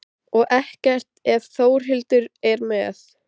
Og ekkert ef Þórhildur er með.